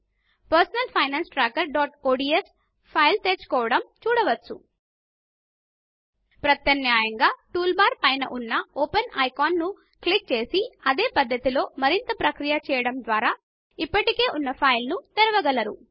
personal finance trackerఒడిఎస్ file తెరుచుకోవడం చూడవచ్చు ప్రత్యామ్నాయంగా టూల్ బార్ పైన ఉన్న ఓపెన్ ఐకాన్ ను క్లిక్ చేసి అదే పద్ధతిలో మరింత ప్రక్రియ చేయడం ద్వారా ఇప్పటికే ఉన్న ఫైమాల్ తెరవగలరు